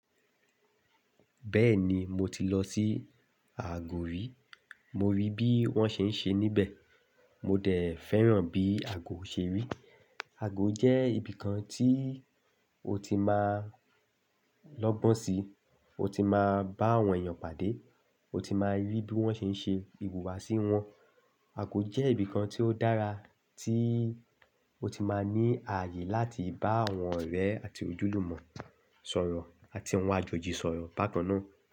Bẹ́ẹ̀ni mo ti lọ sí àgó rí, mo rí bí wón ṣe ń ṣe níbẹ̀, mo dẹ̀ fẹ́ràn bí àgó ṣe rí. Àgó jẹ́ ibìkan tí o ti máa lọ́gbọ́n sí, o ti máa bá àwọn èèyàn pàdé, o ti máa rí bí wón ṣe ń ṣe ìhùwàsí wọn. Àgó jẹ́ ibìkan tí ó dára tí o ti máa ní ààyè láti bá àwọn ọ̀rẹ́ àti ojúlùmọ̀ sọ̀rọ̀ àti àwọn àjòjì sọ̀rọ̀ bákan náà.